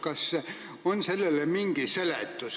Kas on sellele mingi seletus?